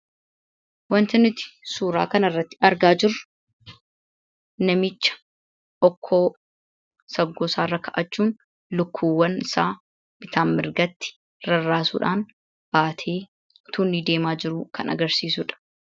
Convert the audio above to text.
Wanti nuti suura kana irratti argaa jirru namicha ookkoo saggoo isaa irra godhachuun lukkuu isaa bitaa fi mirga irratti rarraasuudhaan baatee osoo inni deemaa jiruu kan agarsiisudha.